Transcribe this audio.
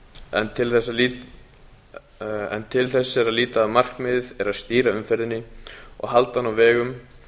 en til þess er að líta að markmiðið er að stýra umferðinni og halda henni á vegum